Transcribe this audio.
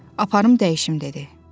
Aparım dəyişim dedi.